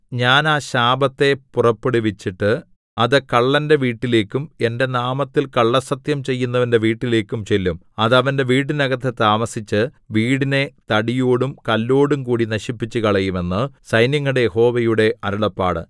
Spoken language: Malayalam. ഞാൻ ആ ശാപത്തെ പുറപ്പെടുവിച്ചിട്ട് അത് കള്ളന്റെ വീട്ടിലേക്കും എന്റെ നാമത്തിൽ കള്ളസ്സത്യം ചെയ്യുന്നവന്റെ വീട്ടിലേക്കും ചെല്ലും അത് അവന്റെ വീട്ടിനകത്തു താമസിച്ച് വീടിനെ തടിയോടും കല്ലോടുംകൂടി നശിപ്പിച്ചുകളയും എന്നു സൈന്യങ്ങളുടെ യഹോവയുടെ അരുളപ്പാട്